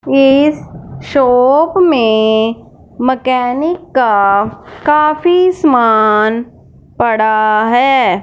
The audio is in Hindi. इस शॉप में मकैनिक का काफी सामान पड़ा है।